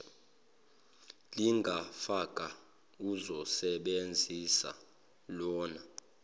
lingafaka ozosebenzisa lawn